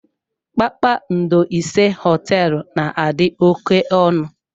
Kpakpando ise Họteelụ na-adị oké ọnụ.